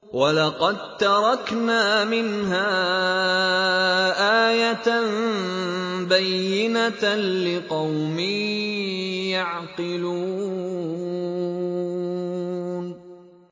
وَلَقَد تَّرَكْنَا مِنْهَا آيَةً بَيِّنَةً لِّقَوْمٍ يَعْقِلُونَ